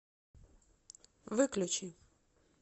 выключи